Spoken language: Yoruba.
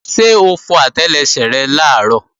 Ṣé o fọ àtẹlẹsẹ̀ rẹ làárọ̀?